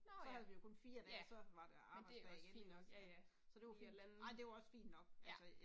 Nåh ja, ja. Men det er da også fint nok, Lige og lande. Ja